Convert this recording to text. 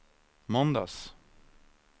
måndags